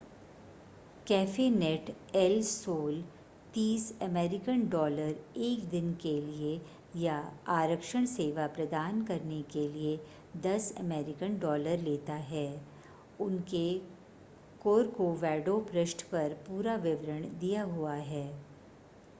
कैफ़ेनेट El Sol 30 American dollar एक दिन के लिए या आरक्षण सेवा प्रदान करने के लिए 10 अमेरिकन डॉलर लेता है उनके corcovado पृष्ठ पर पूरा विवरण दिया हुआ है